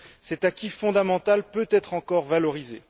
Cet acquis fondamental peut être encore valorisé.